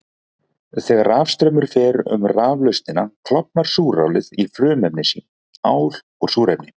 Þegar rafstraumur fer um raflausnina klofnar súrálið í frumefni sín, ál og súrefni.